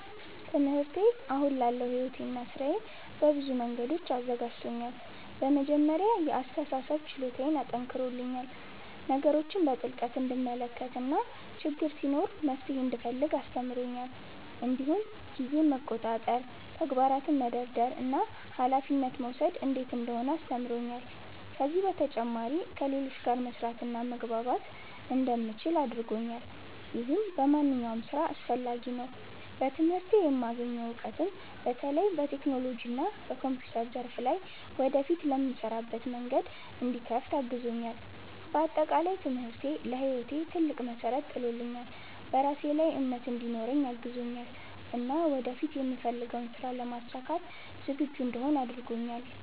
ትምህርቴ አሁን ላለው ሕይወቴና ሥራዬ በብዙ መንገዶች አዘጋጅቶኛል። በመጀመሪያ የአስተሳሰብ ችሎታዬን አጠናክሮልኛል፤ ነገሮችን በጥልቅ እንድመለከት እና ችግር ሲኖር መፍትሄ እንድፈልግ አስተምሮኛል። እንዲሁም ጊዜን መቆጣጠር፣ ተግባራትን መደርደር እና ኃላፊነት መውሰድ እንዴት እንደሆነ አስተምሮኛል። ከዚህ በተጨማሪ ከሌሎች ጋር መስራትና መግባባት እንደምችል አድርጎኛል፣ ይህም በማንኛውም ሥራ አስፈላጊ ነው። በትምህርቴ የማገኘው እውቀት በተለይም በቴክኖሎጂና በኮምፒውተር ዘርፍ ላይ ወደፊት ለምሰራበት መንገድ እንዲከፍት አግዞኛል። በአጠቃላይ ትምህርቴ ለሕይወቴ ትልቅ መሠረት ጥሎልኛል፤ በራሴ ላይ እምነት እንዲኖረኝ አግዞኛል እና ወደፊት የምፈልገውን ሥራ ለማሳካት ዝግጁ እንድሆን አድርጎኛል።